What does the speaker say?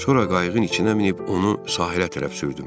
Sonra qayığın içinə minib onu sahilə tərəf sürdüm.